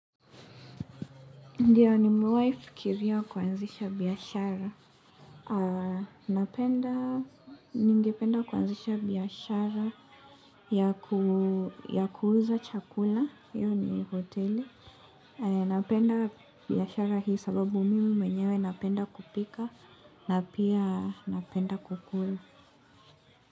Ndiyo nimewahifikiria kuanzisha biashara. napenda, ningipenda kuanzisha biashara. Ya kuuza chakula, yani hoteli. Napenda biashara hii sababu mimi mwenyewe napenda kupika na pia napenda kukula.